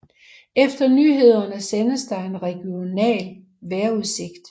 Efter nyhederne sendes der en regional vejrudsigt